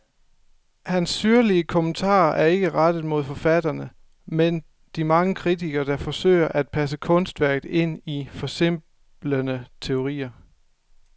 Hans syrlige kommentarer er ikke rettet mod forfatterne, men de mange kritikere, der forsøger at passe kunstværket ind i forsimplende teorier.